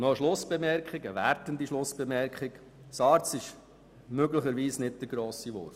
Und dann noch eine wertende Schlussbemerkung: SARZ ist nicht der grosse Wurf.